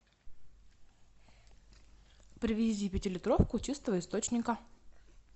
привези пятилитровку чистого источника